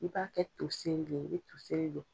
I b'a kɛ toseri le ye i be toseri don